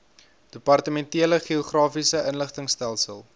departementele geografiese inligtingstelsel